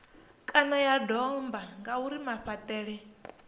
kana ya domba ngauri mafhaṱele